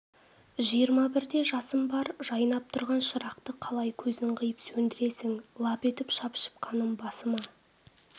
жиырма бірде жасым бар жайнап тұрған шырақты қалай көзің қиып сөндіресің лап етіп шапшып қаным басыма